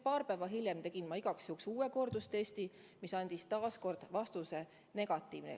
Paar päeva hiljem tegin igaks juhuks kordustesti, mis andis taas vastuse: negatiivne.